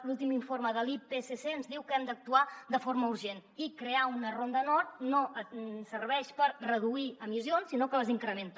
l’últim informe de l’ipcc ens diu que hem d’actuar de forma urgent i crear una ronda nord no ens serveix per reduir emissions sinó que les incrementa